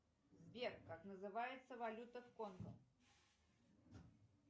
сбер как называется валюта в конго